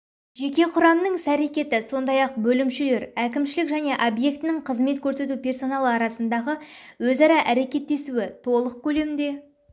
жеке құрамның іс-әрекеті сондай-ақ бөлімшелер әкімшілік және объектінің қызмет көрсету персоналы арасындағы өзара әрекеттесуі толық көлемде